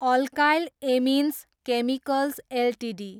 alkyl amines chemicals Ltd